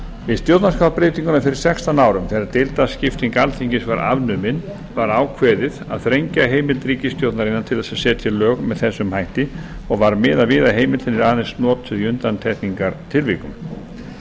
við stjórnarskrárbreytinguna fyrir sextán árum þegar deildaskipting alþingis var afnumin var ákveðið að þrengja heimild ríkisstjórnarinnar til þess að setja lög með þessum hætti og var miðað við að heimildin yrði aðeins notuð í undantekningartilvikum